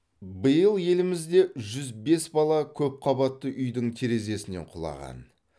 биыл елімізде жүз бес бала көпқабатты үйдің терезесінен құлаған